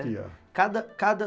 Existia. Cada cada